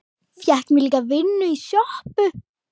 Fékk mér líka vinnu í sjoppu.